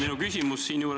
Palun küsimust!